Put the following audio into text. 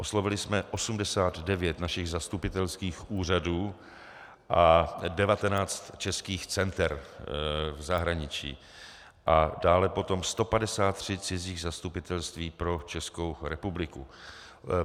Oslovili jsme 89 našich zastupitelských úřadů a 19 českých center v zahraničí a dále potom 153 cizích zastupitelství pro Českou republiku.